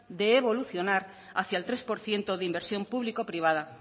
de evolucionar hacia el tres por ciento de inversión público privada